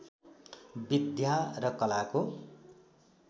विद्या र कलाको